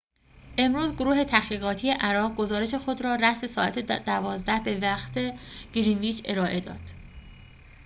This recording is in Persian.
امروز گروه تحقیقاتی عراق گزارش خود را رأس ساعت ۱۲:۰۰ به وقت گرینویچ ارائه داد